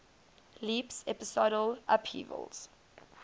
leaps episodal upheavals